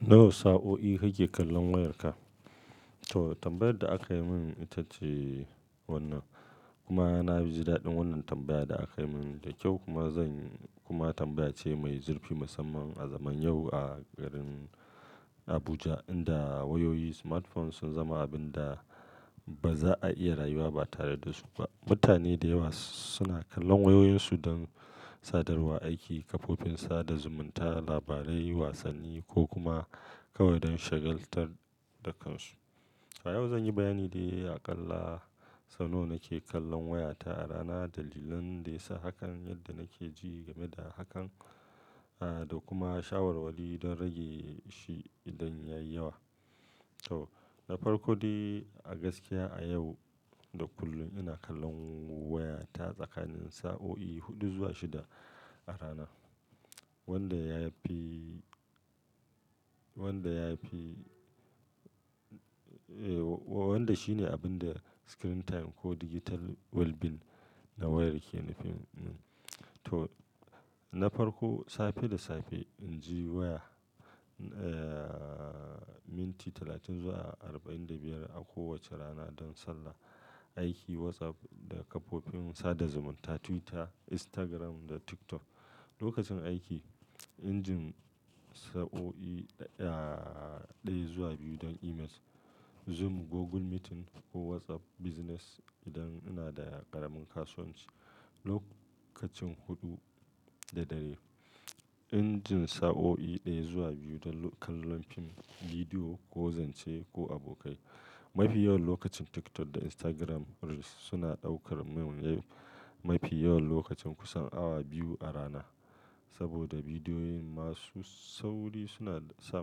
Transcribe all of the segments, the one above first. Nawa sa'o'i kake kallon wayarka? To, tambayar da aka yi min ita ce wannan. Kuma na ji daɗin wannan tambayar da aka yi min da kyau kuma zan kuma tambaya ce mai zurfi musamman a zaman yau a garin Abuja, inda wayoyi smartphones sun zama abin da ba za a iya rayuwa ba tare da su ba. Mutane da yawa suna kallon wayoyinsu don sadarwa, aiki, kafofin sada zumunta, labarai, wasanni ko kuma kawai don shagaltar da kansu. A yau zan yi bayani de aƙalla sau nawa nake kallon wayata a rana, dalilan da ya sa hakan, yadda nake ji game da hakan, ah, da kuma shawarwari don rage shi idan ya yi yawa. To, na farko dai a gaskiya a yau da kullum ina kallon wayata tsakanin sa'o'i huɗu zuwa shida a rana. Wanda ya fi, wanda ya fi, eh, wa-wanda shine abin da screen time ko digital well-being na wayar ke nufi. To, na farko, safe da safe, inji waya, eh, minti talatin zuwa arba'in da biyar a kowace rana don sallah, aiki, WhatsApp da kafofin sada zumunta, Twitter, Instagram da TikTok. Lokacin aiki, injin sa'o'i, ah, ɗaya zuwa biyu don emails, Zoom, Google Meeting ko WhatsApp Business idan ina da ƙaramin kasuwanci. Lokacin huɗu da dare, injin sa'o'i ɗaya zuwa biyu don kallon fim, bidiyo ko zance da abokai. Mafi yawan lokacin TikTok da Instagram Reels suna ɗaukar mafi yawan lokacin kusan awa biyu a rana. Saboda bidiyoyin masu sauri suna sa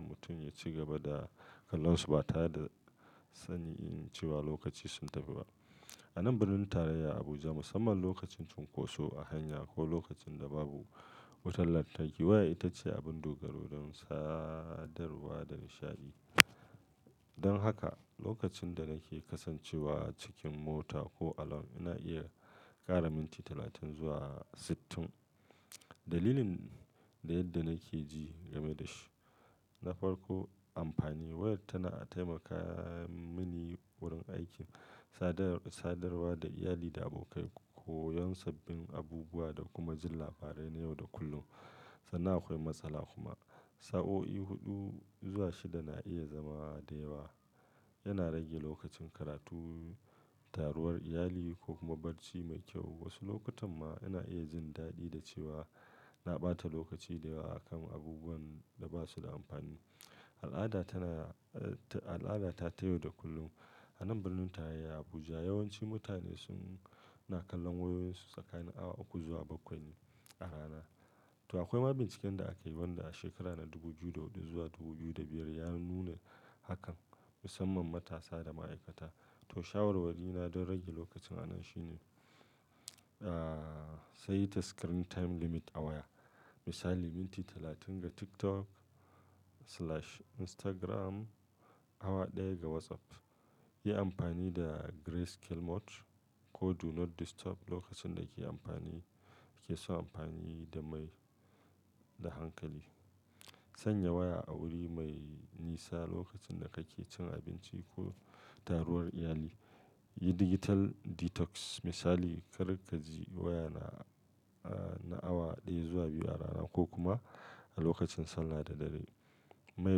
mutum ya ci gaba da kallonsu ba tare da sanin cewa lokaci sun tafi ba. A nan birnin tarayya Abuja, musamman lokacin cunkoso a hanya ko lokacin da babu wutar lantarki, waya ita ce abin dogaro don sadarwa da nishaɗi. Don haka, lokacin da nake kasancewa cikin mota ko alon, ina iya ƙara minti talatin zuwa sittin. Dalilin da yadda nake ji game da shi, na farko amfani. Waya tana taimaka mini wurin aiki, sadar-sadarwa da iyali da abokai, koyon sabbin abubuwa da kuma jin labarai na yau da kullum. Sannan akwai matsala kuma. Sa'o'i huɗu zuwa shida na iya zama da yawa. Yana rage lokacin karatu, taruwar iyali ko kuma barci mai kyau. Wasu lokutan ma ina iya jin daɗi da cewa na ɓata lokaci da yawa a kan abubuwan da ba su da amfani. Al'ada tana, al'ada ta ta yau da kullum. A nan birnin tarayya Abuja, yawanci mutane sun-- na kallon wayoyinsu tsakanin awa uku zuwa bakwai ne a rana. To akwai mabincikan da akayi wanda a shekara na dubu biyu da huɗu zuwa dubu biyu da biyar ya nuna hakan, musamman matasa da ma'aikata. To shawarwari na don rage lokacin a nan shine, ah, saita screen time limit a waya. Misali, minti talatin ga TikTok/Instagram, awa ɗaya ga WhatsApp. Yi amfani da Gray Scale Mode ko Do Not Disturb lokacin da ke amfani, ke so amfani da mai, da hankali. Sanya waya a wuri mai nisa lokacin da kake cin abinci ko taruwar iyali. Yi digital detox. Misali, kar ka ji waya na, ah, na awa ɗaya zuwa biyu a rana ko kuma a lokacin sallah da dare. Mai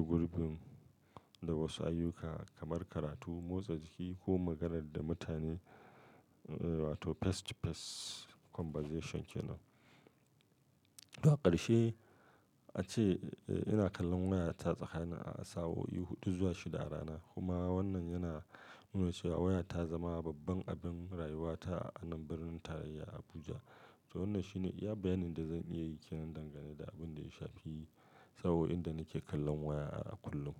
gurbun da wasu ayyuka kamar karatu, motsa jiki ko magana da mutane, eh, wato face-to-face conversation kenan. To a ƙarshe ace ina kallon wayata tsakanin sa'o'i huɗu zuwa shida a rana. Kuma wannan yana nuna cewa waya ta zama babban abin rayuwata a nan birnin tarayya Abuja. To wannan shine iya bayanin da zan iya yi kenan dangane da abin da ya shafi sa'o'in da nake kallon waya a kullum.